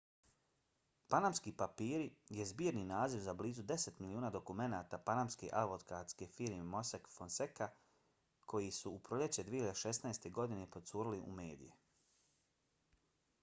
panamski papiri je zbirni naziv za blizu deset miliona dokumenata panamske advokatske firme mossack fonseca koji su u proljeće 2016. godine procurili u medije